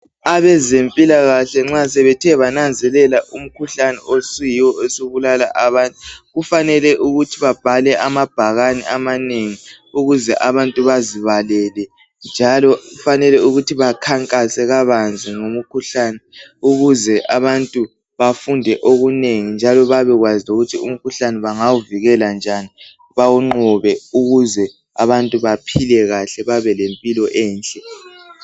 Abezempilakahle nxa sebethe bananzelela umkhuhlane osuyiwo osubulala abantu kufanele ukuthi babhale amabhakani amanengi ukuze abantu bazibalele njalo kufanele bakhankase kabanzi ngomkhuhlane ukuze abantu bafunde okunengi njalo babekwazi ukuthi umkhuhlane bangawuvikela njani bawunqobe ukuze abantu baphile kahle babe lempilo enhle